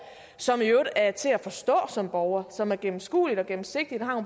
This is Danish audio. som i øvrigt er til at forstå som borger som er gennemskueligt og gennemsigtigt og